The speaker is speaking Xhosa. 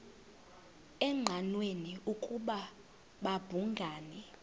engqanweni ukuba babhungani